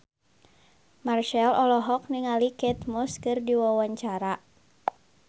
Marchell olohok ningali Kate Moss keur diwawancara